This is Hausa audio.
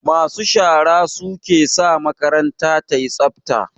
Masu shara su ke sa makaranta yayi tsafta